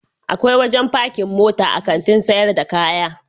Akwai wajen pakin mota a Kantin sayar da kaya.